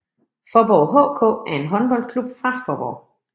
Faaborg HK er en håndboldklub fra Faaborg